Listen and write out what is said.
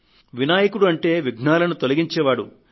వినాయకుడు అంటే విఘ్నాలను తొలగించే శక్తి